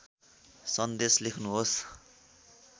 सन्देश लेख्नुहोस्